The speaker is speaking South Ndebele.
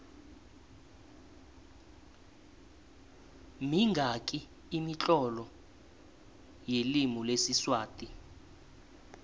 minqani imitlolo yelimi lesiswati